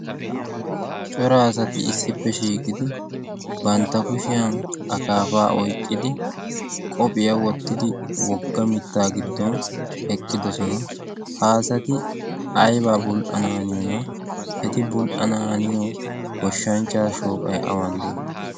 coraasati issippe shiiqidi bantta kushiyan akaafaa oyqqidi qohphiyaa wottidi wogga mittaa giddon eqqidoson. haasati aibaa bul'a naaniyoona eti bul'a naaniyo goshshanchcha shooqai awan de'ii?